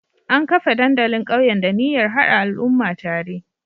An kafa dandalin ƙauyen da niyyar hada al'umma tare